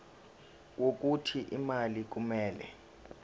wokuthi imali kumele